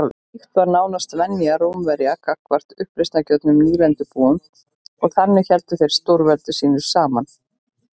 Slíkt var nánast venja Rómverja gagnvart uppreisnargjörnum nýlendubúum og þannig héldu þeir stórveldi sínu saman.